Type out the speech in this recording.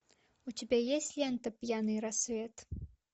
у тебя есть лента пьяный рассвет